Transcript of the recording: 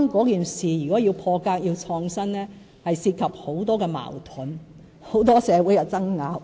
然而，如果要破格、創新，將涉及很多矛盾、社會爭拗、